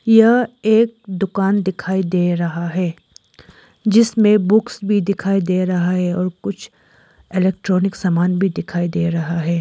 यह एक डुकान डिखाई रहा है जिसमें बुक्स भी दिखाई दे रहा है और कुछ इलेक्ट्रॉनिक समान भी दिखाई दे रहा है।